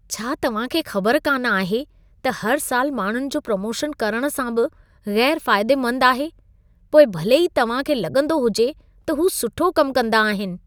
छा तव्हां खे ख़बर कान आहे त हर साल माण्हुनि जो प्रोमोशन करण सां बि ग़ैर फायदेमंदु आहे, पोइ भले ई तव्हां खे लॻंदो हुजे त हू सुठो कमु कंदा आहिन।